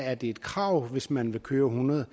er det et krav hvis man vil køre hundrede